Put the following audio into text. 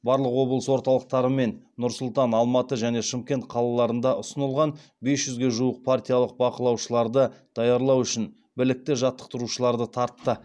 барлық облыс орталықтары мен нұр сұлтан алматы және шымкент қалаларында ұсынылған бес жүзге жуық партиялық бақылаушыларды даярлау үшін білікті жаттықтырушыларды тартты